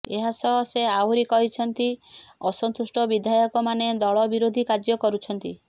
ଏହା ସହ ସେ ଆହୁରି କହିଛନ୍ତି ଅସନ୍ତୁଷ୍ଟ ବିଧାୟକମାନେ ଦଳ ବିରୋଧୀ କାର୍ଯ୍ୟ କରୁଛନ୍ତି